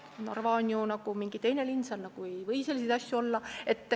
Narva oleks nagu mingi teistsugune linn, seal ei või selliseid asju olla.